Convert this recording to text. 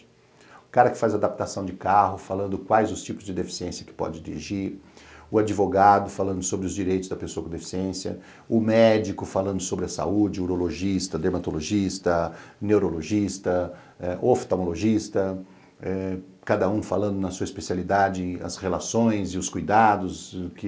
O cara que faz adaptação de carro, falando quais os tipos de deficiência que pode dirigir, o advogado falando sobre os direitos da pessoa com deficiência, o médico falando sobre a saúde, urologista, dermatologista, neurologista, oftalmologista, cada um falando na sua especialidade as relações e os cuidados que